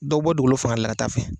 Dɔw bɛ bɔ dugukolo fanga de la ka taa fɛ.